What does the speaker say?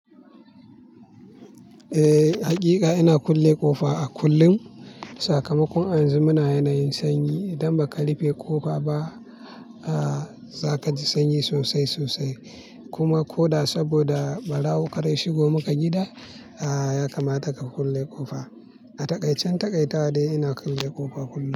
Eh, hakika ina kulle ƙofa a kullum. Sakamakon a yanzu muna yanayin sanyi. Idan baka rufe ƙofa ba, a-a za kaji sanyi sosai sosai. Kuma ko da saboda barawo karda ya shigo maka gida, a-a ya kamata ka kulle ƙofa. A takaicen takaitawa dai ina kulle ƙofa kullum.